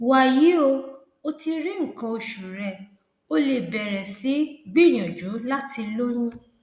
wàyí o o ti rí nǹkan oṣù rẹ o lè bẹrẹ sí gbìyànjú láti lóyún